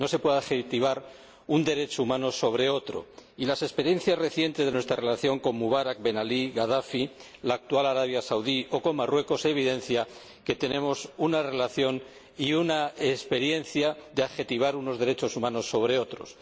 No se puede priorizar un derecho humano sobre otro y las experiencias recientes de nuestra relación con Mubarak, Ben Ali, Gadafi, la actual Arabia Saudí o Marruecos evidencian que tenemos una experiencia de priorizar unos derechos humanos sobre otros.